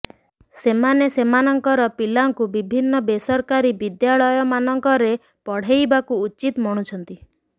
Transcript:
ସେମାନେ ସେମାନଙ୍କର ପିଲାଙ୍କୁ ବିଭିନ୍ନ ବେସରକାରୀ ବିଦ୍ୟାଳୟମାନଙ୍କରେ ପଢେଇବାକୁ ଉଚିତ ମଣୁଛନ୍ତି